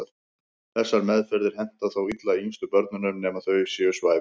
Þessar meðferðir henta þó illa yngstu börnunum nema þau séu svæfð.